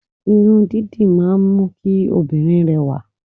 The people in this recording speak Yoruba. Irun dídì máa ń mú kí òbìnrin rẹ̀wà